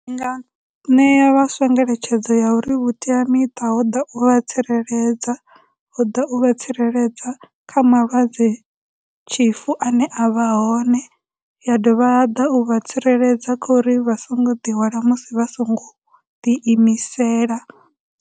Ndi nga ṋea vhaswa ngeletshedzo ya uri vhuteamiṱa ho ḓa u vha tsireledza, ho ḓa u vha tsireledza kha malwadze tshifu ane avha hone, ya dovha ya ḓa u vha tsireledza kha uri vha songo ḓihwala musi vha songo ḓi imisela.